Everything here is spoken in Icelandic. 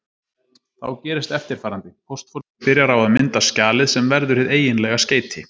Þá gerist eftirfarandi: Póstforritið byrjar á að mynda skjalið sem verður hið eiginlega skeyti.